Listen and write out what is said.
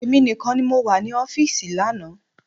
Èmi nìkan ni mo wà ní ọfísì lánàá